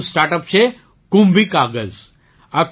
એક બીજું startup છે કુંભી કાગઝ